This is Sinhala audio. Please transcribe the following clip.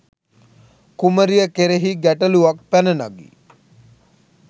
කුමරිය කෙරෙහි ගැටළුවක් පැන නගී.